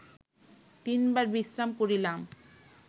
তিনবার বিশ্রাম করিলাম